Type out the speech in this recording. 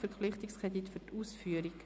Verpflichtungskredit für die Ausführung».